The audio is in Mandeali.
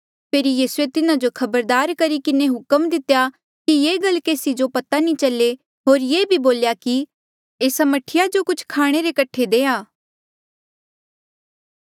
फेरी यीसूए तिन्हा जो खबरदार करी किन्हें हुक्म दितेया कि ये गल केसी जो पता नी चले होर ये भी बोल्या कि एस्सा मह्ठीया जो कुछ खाणे रे कठे देआ